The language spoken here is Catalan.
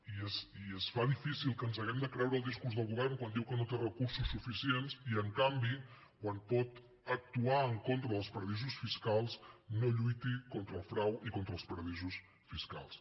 i es fa difícil que ens hàgim de creure el discurs del govern quan diu que no té recursos suficients i en canvi quan pot actuar en contra dels paradisos fiscals no lluiti contra el frau i contra els paradisos fiscals